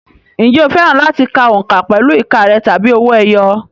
Ǹjẹ́ o fẹ́ràn láti ka òǹkà pẹ̀lú ìka rẹ̀ tàbí owó ẹyọ?